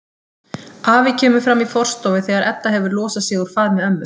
Afi kemur fram í forstofu þegar Edda hefur losað sig úr faðmi ömmu.